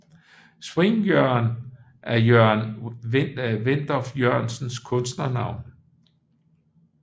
Swing Jørgen er Jørgen Wenndorf Jørgensens kunstnernavn